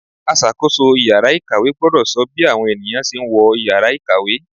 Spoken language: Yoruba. Aṣàkóso ìyára ìkàwé gbọ́dọ̀ sọ bí àwọn ènìyàn ṣe ń wọ Ìyàrá ìkàwé.